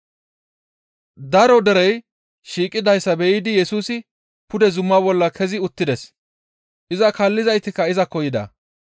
Daro derey shiiqidayssa be7idi Yesusi pude zuma bolla kezi uttides; iza kaallizaytikka izakko yida.